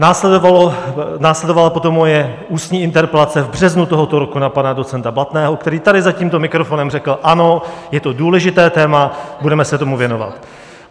Následovala potom moje ústní interpelace v březnu tohoto roku na pana docenta Blatného, který tady za tímto mikrofonem řekl: Ano, je to důležité téma, budeme se tomu věnovat.